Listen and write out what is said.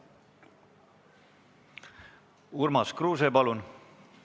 Urmas Kruuse, palun!